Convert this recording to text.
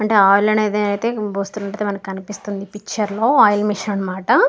అంటే ఆయిల్ అనేది అయితే మనకి కనిపిస్తుంది. పిక్చర్ లో ఆయిల్ మిషన్ అనమాట.